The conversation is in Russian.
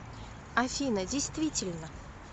афина действительно